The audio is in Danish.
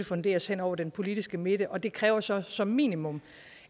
funderes hen over den politiske midte og det kræver så som minimum